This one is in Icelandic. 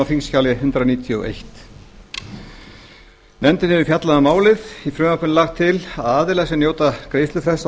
þingskjali hundrað níutíu og eitt nefndin hefur fjallað um málið í frumvarpinu er lagt til að aðilar sem njóta greiðslufrests